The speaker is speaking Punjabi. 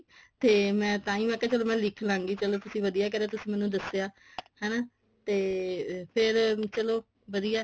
ਤੇ ਮੈਂ ਤਾਂਹੀਂ ਮੈਂ ਕਿਹਾ ਚਲ ਮੈਂ ਲਿੱਖ ਲਾਂਗੀ ਚਲੋ ਤੁਸੀਂ ਵਧੀਆ ਕਰਿਆ ਤੁਸੀਂ ਮੈਨੂੰ ਦੱਸਿਆ ਹਨਾ ਤੇ ਫੇਰ ਚਲੋ ਵਧੀਆ